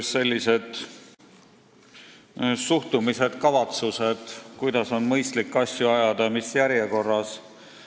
Pean silmas suhtumist, kavatsusi, kuidas on mõistlik asju ajada ja mis järjekorras.